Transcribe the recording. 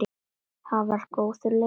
Það var góður leikur.